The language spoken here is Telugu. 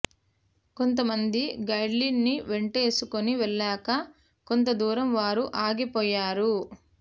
కొంత మంది గైడ్ల్ని వెంటేసుకుని వెళ్లాక కొంత దూరం వారు ఆగిపోయారు